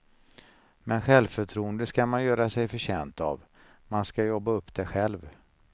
Men självförtroende ska man göra sig förtjänt av, man ska jobba upp det själv.